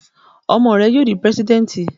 Ọmọ rẹ yóò dí President!